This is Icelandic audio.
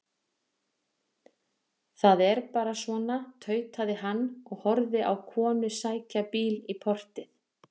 Það er bara svona, tautaði hann og horfði á konu sækja bíl í portið.